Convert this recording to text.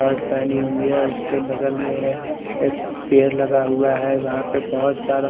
shirt पेहनी हुई है उसने बगल मे एक पेअर लगा हुआ है वहाँपे बहुत सारा--